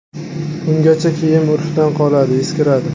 Ungacha kiyim urfdan qoladi, eskiradi.